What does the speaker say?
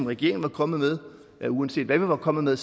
regeringen var kommet med ja uanset hvad vi var kommet med